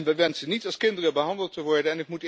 We wensen niet als kinderen behandeld te worden.